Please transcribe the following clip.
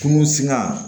Kungo sina